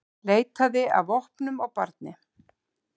Leitaði að vopnum á barni